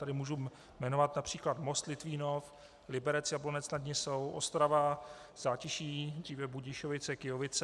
Tady můžu jmenovat například Most, Litvínov, Liberec, Jablonec nad Nisou, Ostrava Zátiší, dříve Budišovice-Kyjovice.